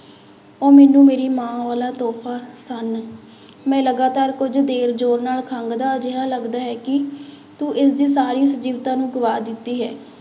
ਉਹ ਮੈਨੂੰ ਮੇਰੀ ਮਾਂ ਵਾਲਾ ਤੋਹਫ਼ਾ ਸਨ, ਮੈਂ ਲਗਾਤਾਰ ਕੁੱਝ ਦੇਰ ਜ਼ੋਰ ਨਾਲ ਖੰਘਦਾ ਜਿਹਾ ਲੱਗਦਾ ਹੈ ਕਿ ਤੂੰ ਇਸਦੀ ਸਾਰੀ ਸਜੀਵਤਾ ਨੂੰ ਗਵਾ ਦਿੱਤੀ ਹੈ।